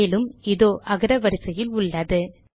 மேலும்இதோ அகரவரிசையில் உள்ளது